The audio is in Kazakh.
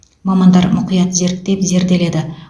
мамандар мұқият зерттеп зерделеді